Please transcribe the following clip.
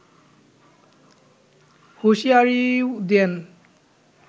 হুঁশিয়ারিও দেন